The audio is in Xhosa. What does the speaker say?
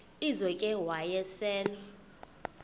lizo ke wayesel